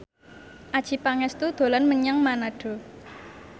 Adjie Pangestu dolan menyang Manado